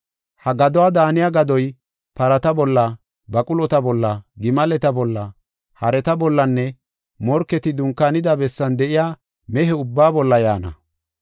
Ha gaduwa daaniya gadoy parata bolla, baqulota bolla, gimaleta bolla, hareta bollanne morketi dunkaanida bessan de7iya mehe ubbaa bolla yaana.